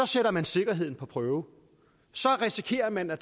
sætter man sikkerheden på prøve så risikerer man at